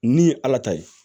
Ni ye ala ta ye